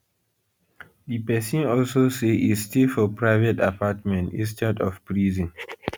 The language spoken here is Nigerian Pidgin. di pesin also say e stay for private apartment instead of prison